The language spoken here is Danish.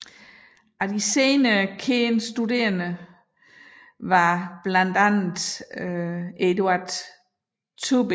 Af senere kendte studerende var blandt andet Eduard Tubin